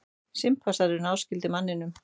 Simpansar eru náskyldir manninum.